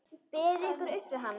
Berið ykkur upp við hann!